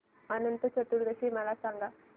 अनंत चतुर्दशी मला सांगा